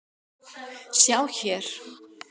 Sjá hér.